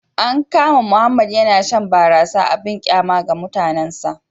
An kama Mohammed yana shan barasa abin kyama ga mutanensa